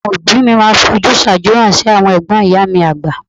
Àwọn òbí mi àgbà máa ń fi ojúsàájú hàn sí àwọn ẹ̀gbọ́n ìyá mi àgbà..